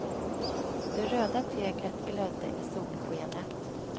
Det röda teglet glödde i solskenet.